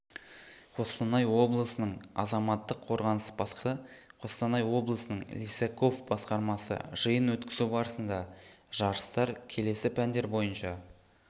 қостанай облысының азаматтық қорғаныс басқармасы қостанай облысының лисаков басқармасы жиын өткізу барысында жарыстар келесі пәндер бойынша